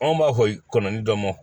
Anw b'a fɔ kɔnɔnin dɔ ma